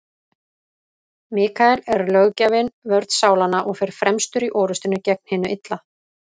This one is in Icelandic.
Mikael er löggjafinn, vörn sálanna, og fer fremstur í orrustunni gegn hinu illa.